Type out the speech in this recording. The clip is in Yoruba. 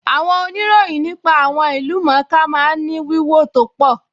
Àwọn ìròyìn nípa àwọn ìlú-mọ̀-ọ́n-ká máa ń ní wíwò tó pọ̀